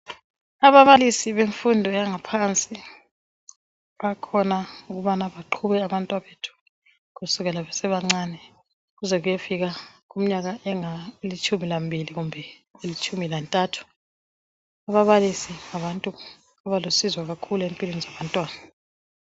ababalisibemfundo yangaphansi bakhona ukuze baqube abantwana bethu kusukisela kumnyaka emincane kuzekufike itshumi lmbilikumbe itshumi lantathu ababalisi ngabantu abalusizo kakhulu empilweni zabantwana